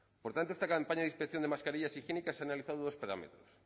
por tanto esta campaña de inspección de mascarillas higiénicas ha analizado dos parámetros